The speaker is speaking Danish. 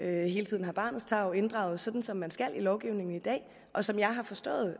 hele tiden har barnets tarv inddraget sådan som man skal ifølge lovgivningen i dag og som jeg har forstået